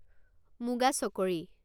মুগা চকৰী